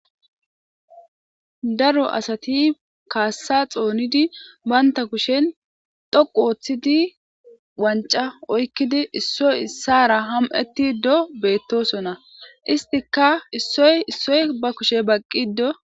Daro asati kaassa xoonidi baynta kushen dhoqu ooththidi wanca oykkidi issoy issara ham'eti do beettosonna istika issoy issoy ba kushe baqqi do.